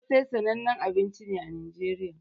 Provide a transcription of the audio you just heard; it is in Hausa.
Kosai sananne abinci ne a nigeriya